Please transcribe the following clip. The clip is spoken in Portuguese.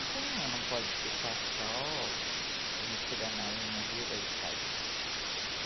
Então ela não pode ficar só me tirando aí na realidade de casa.